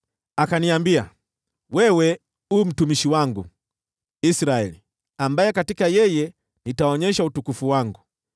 Akaniambia, “Wewe u mtumishi wangu, Israeli, ambaye katika yeye nitaonyesha utukufu wangu.”